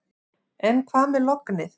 En hvað með lognið.